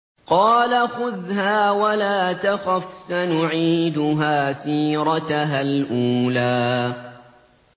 قَالَ خُذْهَا وَلَا تَخَفْ ۖ سَنُعِيدُهَا سِيرَتَهَا الْأُولَىٰ